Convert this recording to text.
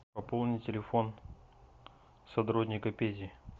пополни телефон сотрудника пети